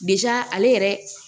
ale yɛrɛ